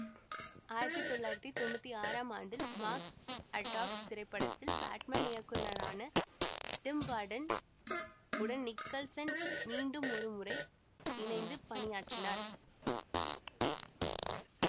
ஆயிரத்தி தொள்ளாயிரத்தி தொன்னூத்தி ஆறாம் ஆண்டில் மார்ஸ் அட்டாக்ஸ் திரைப்படத்தில் பேட்மேன் இயக்குநரான டிம் பர்டன் உடன் நிக்கல்சன் மீண்டுமொரு முறை இணைந்து பணியாற்றினார்